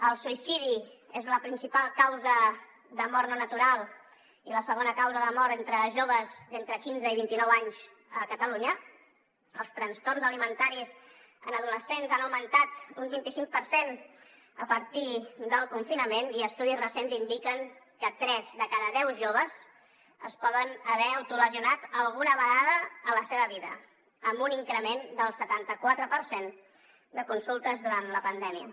el suïcidi és la principal causa de mort no natural i la segona causa de mort entre joves d’entre quinze i vint i nou anys a catalunya els trastorns alimentaris en adolescents han augmentat un vint i cinc per cent a partir del confinament i estudis recents indiquen que tres de cada deu joves es poden haver autolesionat alguna vegada a la seva vida amb un increment del setanta quatre per cent de consultes durant la pandèmia